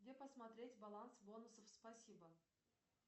где посмотреть баланс бонусов спасибо